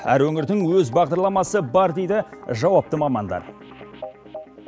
әр өңірдің өз бағдарламасы бар дейді жауапты мамандар